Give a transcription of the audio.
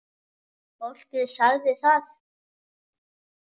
Fólkið sagði það.